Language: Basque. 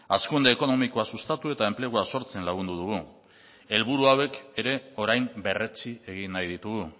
hazkunde ekonomikoa sustatu eta enplegua sortzen lagundu dugu helburu hauek ere orain berretsi egin nahi ditugu